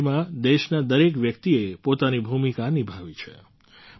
આ લડાઈમાં દેશના દરેક વ્યક્તિએ પોતાની ભૂમિકા નિભાવી છે